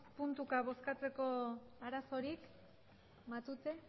puntuka bozkatzeko arazorik matute